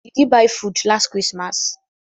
Did he buy food last christmas